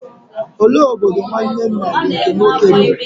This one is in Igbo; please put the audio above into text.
Olee obodo nwanne nna gị nke nwoke bi?